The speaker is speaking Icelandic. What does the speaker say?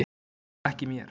En ekki mér.